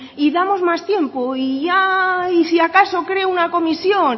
y damos más tiempo y ya y si acaso creo una comisión